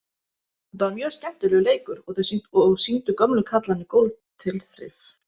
Þetta var mjög skemmtilegur leikur og sýndu gömlu kallarnir góð tilþrif.